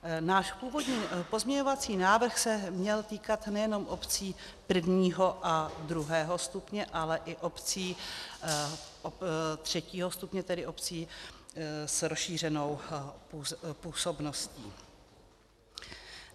Náš původní pozměňovací návrh se měl týkat nejenom obcí prvního a druhého stupně, ale i obcí třetího stupně, tedy obcí s rozšířenou působností.